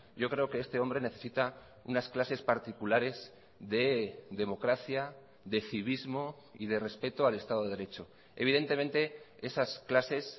yo creo que este hombre necesita unas clases particulares de democracia de civismo y de respeto al estado de derecho evidentemente esas clases